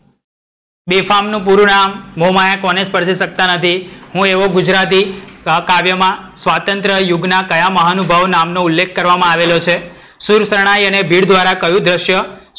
બેફામ નુ પૂરું નામ. મોહમાયા કોને સ્પર્શી સકતા નથી? હું એવું ગુજરાતી સહકાવ્યમાં સ્વાતંત્ર યુગના કયા મહાનુભાવ નામ નો ઉલ્લેખ કરવામાં આવ્યો છે? શૂરશરણાઈ અને ભીડ ધ્વારા કયું ધ્રશ્ય,